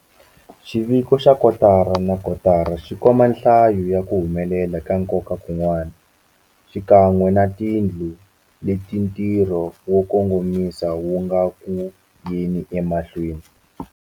Xiviko xa kotara na kotara xi komba nhlayo ya ku humelela ka nkoka kun'wana, xikan'we na tindhawu leti ntirho wo kongomisa wu nga eku yeni emahlweni.